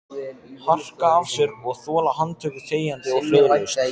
Harka af sér og þola handtöku þegjandi og hljóðalaust?